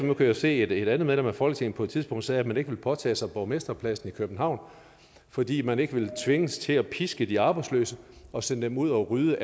jo se at et andet medlem af folketinget på et tidspunkt sagde at man ikke ville påtage sig borgmesterposten i københavn fordi man ikke ville tvinges til at piske de arbejdsløse og sende dem ud og rydde